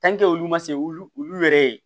olu ma se wulu yɛrɛ ye